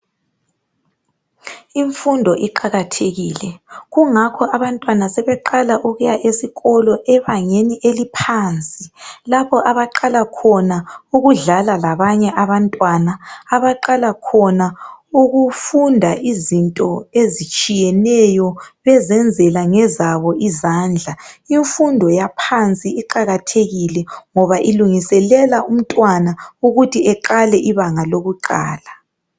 Imfundo iqakathekile kungakho abantwana seqala ukuya esikolo ebangeni eliphansi lapho abaqala khona ukudlala labanye abantwana abaqala khona ukufunda izinto ezitshiyeneyo bezenzela ngezabo izandla. Imfundo yaphansi iqakathekile ngoba ilungiselela umntwana ukuthi aqale ibanga lokuqala.